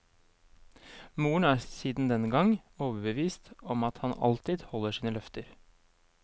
Moren er siden den gang overbevist om at han alltid holder sine løfter.